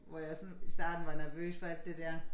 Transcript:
Hvor jeg sådan i starten var nervøs for alt det dér